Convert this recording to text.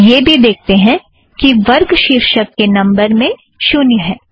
हम यह भी देखते हैं कि वर्ग शीर्षक के नम्बर में शुन्य है